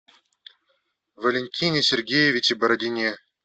валентине сергеевиче бородине